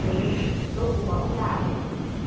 nje lokuba ulale